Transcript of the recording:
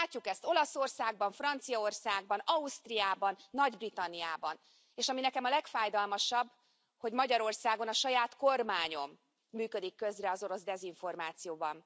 Látjuk ezt Olaszországban, Franciaországban, Ausztriában, Nagy Britanniában, és ami nekem a legfájdalmasabb, hogy Magyarországon, a saját kormányom működik közre az orosz dezinformációban.